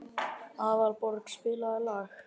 Aðalborg, spilaðu lag.